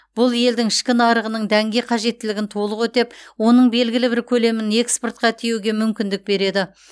бұл елдің ішкі нарығының дәнге қажеттілігін толық өтеп оның белгілі бір көлемін экспортқа тиеуге мүмкіндік береді